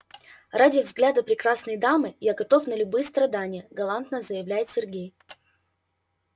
ради взгляда прекрасной дамы я готов на любые страдания галантно заявляет сергей